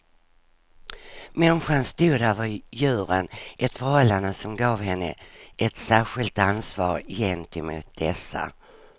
Människan stod över djuren, ett förhållande som gav henne ett särskilt ansvar gentemot dessa.